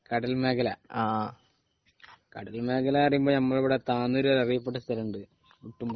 കടൽ മേഖല , കടൽ മേഖല എന്ന് പറയുമ്പോൾ നമ്മളെ ഇവിടെ താനൂർ അറിയപ്പെട്ട സ്ഥലമുണ്ട്